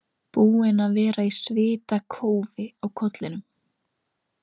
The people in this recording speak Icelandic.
Búin að vera í svitakófi á kollinum.